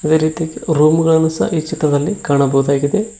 ಅದೇ ರೀತಿ ರೂಮ್ ಗಳನ್ನು ಸಹ ಈ ಚಿತ್ರದಲ್ಲಿ ಕಾಣಬಹುದಾಗಿದೆ.